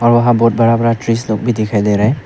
वहां बहुत बड़ा बड़ा ट्रीज लोग भी दिखाई दे रहा है।